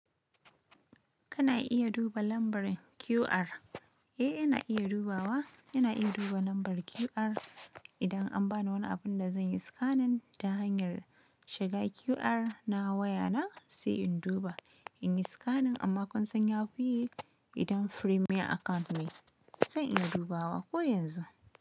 Kana iya duba lambar QR. Eh, ina iya dubawa. Ina iya duba lambar QR idan an bani wani abin da zan yi scanning ta hanyar shiga QR na waya na, sai in duba in yi scanning amma konsanya buyi idan premier account ne. Zan iya dubawa ko yanzu.